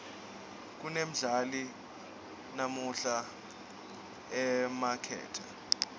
kunendali namuhla emakethe